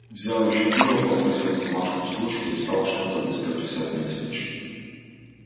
взял ещё пива попросил бумажку с ручкой и стал что-то быстро писать на листочке